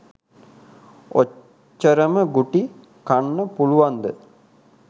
ඔච්චරම ගුටි කන්න පුලුවන්ද